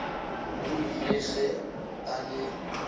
o ile ge a le